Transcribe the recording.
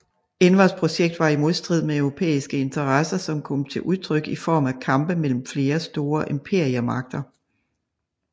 Envers projekt var i modstrid med europæiske interesser som kom til udtryk i form af kampe mellem flere store imperiemagter